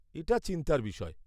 এটা চিন্তার বিষয়।